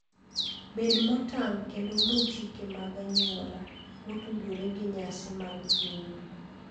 Bed motang' kendo luw chike mag anyuola motudore gi nyasi mag pinyu.